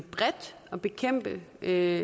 er